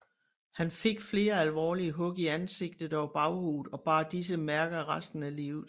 Han fik flere alvorlige hug i ansigt og baghoved og bar disse mærker resten af livet